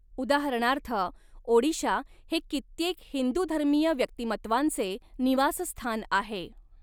उदाहरणार्थ, ओडीशा हे कित्येक हिंदूधर्मीय व्यक्तिमत्वांचे निवासस्थान आहे.